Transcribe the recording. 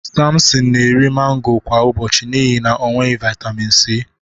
Sampson na-eri mango kwa ụbọchị n'ihi na o nweghị vitamin C.